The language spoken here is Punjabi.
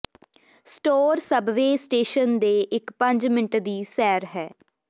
ਸਟੋਰ ਸਬਵੇਅ ਸਟੇਸ਼ਨ ਦੇ ਇਕ ਪੰਜ ਮਿੰਟ ਦੀ ਸੈਰ ਹੈ